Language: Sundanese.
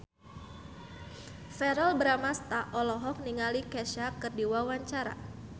Verrell Bramastra olohok ningali Kesha keur diwawancara